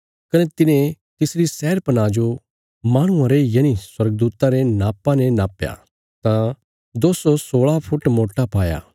कने तिने तिसरी शहरपनाह जो माहणुआं रे यनि स्वर्गदूता रे नापा ने नापया तां दो सौ सोलह फुट मोटा पाया